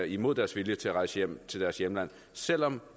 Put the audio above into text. imod deres vilje til at rejse hjem til deres hjemland selv om